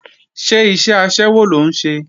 Ṣé iṣẹ́ aṣẹ́wó ló ń ṣe?